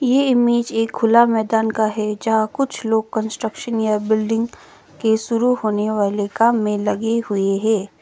ये इमेज एक खुला मैदान का है जहां कुछ लोग कंस्ट्रक्शन या बिल्डिंग के शुरू होने वाले काम में लगी हुई है।